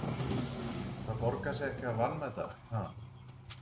Það borgar sig ekki að vanmeta, ha?